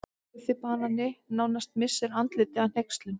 Guffi banani nánast missir andlitið af hneykslun.